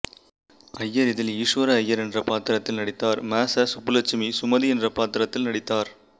ஐயர் இதில் ஈசுவர ஐயர் என்ற பாத்திரத்தில் நடித்தார் ம ச சுப்புலட்சுமி சுமதி என்ற பாத்திரத்தில் நடித்தார்